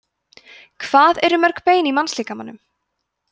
hvað eru mörg bein í mannslíkamanum